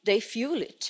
they fuel it.